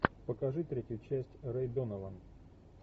покажи третью часть рэй донован